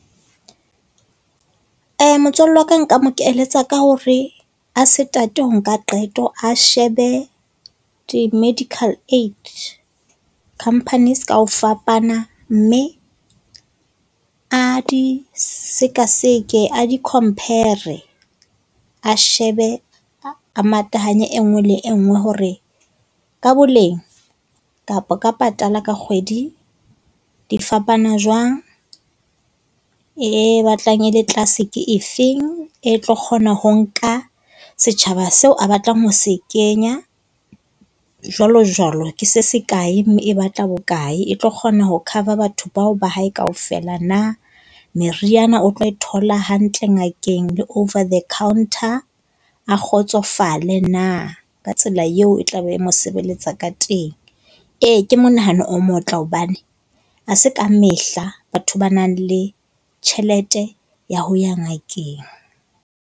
Motswalle wa ka nka mo keletsa ka hore a se tate ho nka qeto. A shebe di-medical aid companies ka ho fapana mme a di sekaseke, a di-compare-re a shebe a matahanye e nngwe le e nngwe hore ka boleng kapa ka patala ka kgwedi, di fapana jwang. E batlang e le tlase ke efeng, e tlo kgona ho nka setjhaba seo a batlang ho se kenya, jwalo jwalo. Ke se se kae, mme e batla bokae. E tlo kgona ho cover batho bao ba hae kaofela na. Meriana o tlo e thola hantle ngakeng le over the counter. A kgotsofale na ka tsela eo e tla be e mo sebeletsa ka teng. Ee ke monahano o motle hobane ha se ka mehla batho ba nang le tjhelete ya ho ya ngakeng.